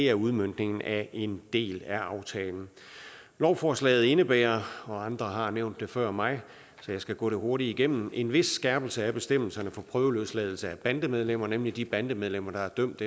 er udmøntningen af en del af aftalen lovforslaget indebærer og andre har nævnt det før mig så jeg skal gå det hurtigt igennem en vis skærpelse af bestemmelserne for prøveløsladelse af bandemedlemmer nemlig de bandemedlemmer der er dømt